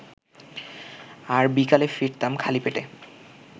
আর বিকালে ফিরতাম খালি পেটে